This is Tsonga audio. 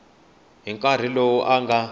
hi nkarhi lowu a nga